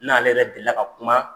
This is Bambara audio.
N'ale yɛrɛ deli la ka kuma